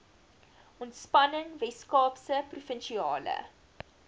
ontspanning weskaapse provinsiale